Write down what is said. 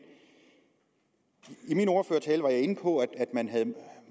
i min ordførertale var jeg inde på at man havde